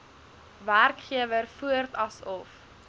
werkgewer voort asof